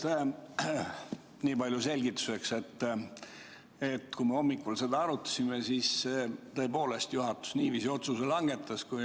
Ütlen selgituseks niipalju, et kui me hommikul seda teemat arutasime, siis juhatus tõepoolest niiviisi otsustas.